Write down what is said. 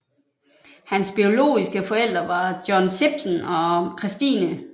Hans biologiske forældre var John Shipton og Christine